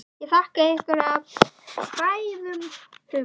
Ég þakka ykkur af hrærðum hug.